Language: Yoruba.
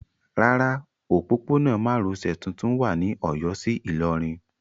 Rárá, òpópónà márosẹ̀ tuntun wà ní Ọ̀yọ́ sí Ìlọrin.